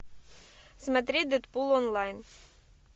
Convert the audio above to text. смотреть дэдпул онлайн